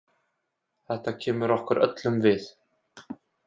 Þetta kemur okkur öllum við.